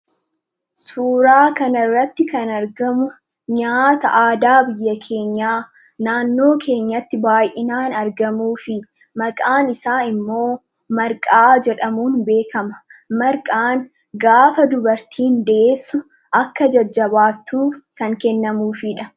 Suuraa kanarratti kan argamu nyaata aadaa biyya keenyaa naannoo keenyatti baay'inaan argamuu fi maqaan isaa immoo Marqaa jedhamuun beekama. Marqaan gaafa dubartiin deessu akka jajjabaattuuf kan kennamuufidha.